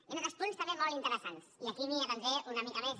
hi han altres punts també molt interessants i aquí m’hi detindré una mica més